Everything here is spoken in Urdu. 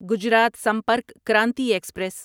گجرات سمپرک کرانتی ایکسپریس